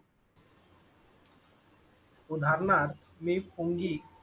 उधरणार मी फोन गी.